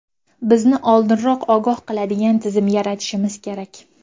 Bizni oldinroq ogoh qiladigan tizim yaratishimiz kerak.